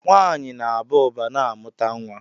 Nwaanyị na Aba uba na amụta nwa.